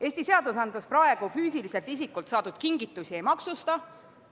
Eesti seadused praegu füüsiliselt isikult saadud kingitusi ei maksusta.